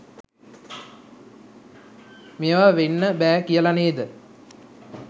මේව වෙන්න බෑ කියල නේද?